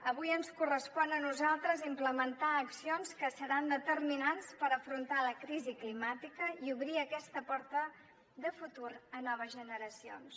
avui ens correspon a nosaltres implementar accions que seran determinants per afrontar la crisi climàtica i obrir aquesta porta de futur a noves generacions